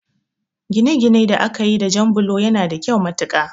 Ginaginai da akayi da jan bulo yana da kyau matuƙa